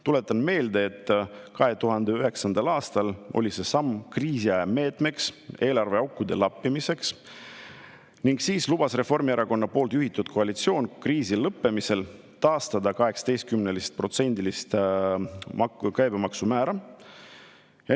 Tuletan meelde, et 2009. aastal oli see samm kriisiaja meetmena eelarveaukude lappimiseks ning siis lubas Reformierakonna juhitud koalitsioon kriisi lõppemisel taastada 18%-lise käibemaksu määra.